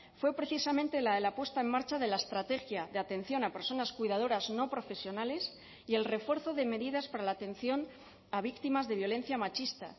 fue precisamente la de la puesta en marcha de la estrategia de atención a personas cuidadoras no profesionales y el refuerzo de medidas para la atención a víctimas de violencia machista